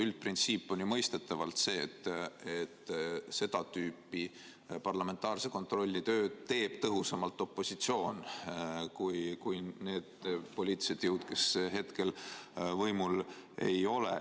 Üldprintsiip on ju mõistetavalt see, et seda tüüpi parlamentaarse kontrolli tööd teeb tõhusamalt opositsioon.